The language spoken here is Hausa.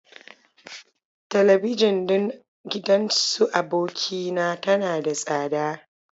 Talabijin ɗin gidan su aboki na tana da tsada.